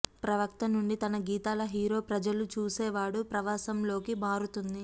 ప్రవక్త నుండి తన గీతాల హీరో ప్రజలు చూసేవాడు ప్రవాసంలో లోకి మారుతుంది